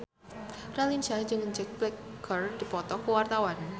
Raline Shah jeung Jack Black keur dipoto ku wartawan